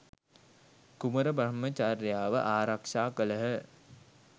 කුමර බ්‍රහ්මචර්යාව ආරක්ෂා කළහ.